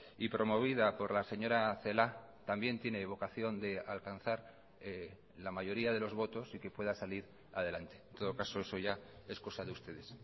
y promovida por la señora celaá también tiene vocación de alcanzar la mayoría de los votos y que pueda salir adelante en todo caso eso ya es cosa de ustedes